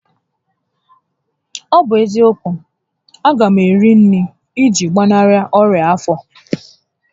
Ọ bụ eziokwu, a ga m eri nri iji gbanarị onya afọ